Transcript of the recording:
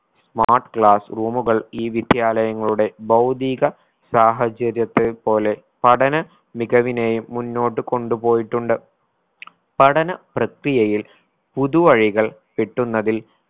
smart class room കൾ ഈ വിദ്യാലയങ്ങളുടെ ഭൗതീക സാഹചര്യത്തെ പോലെ പഠന മികവിനെയും മുന്നോട്ടു കൊണ്ടുപോയിട്ടുണ്ട്. പഠന പ്രക്രിയയിൽ പുതുവഴികൾ കിട്ടുന്നതിൽ